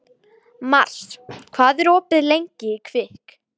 Mars, hvað er opið lengi í Kvikk?